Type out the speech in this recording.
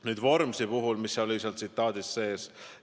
Nüüd, tsitaadis oli mainitud ka Vormsit.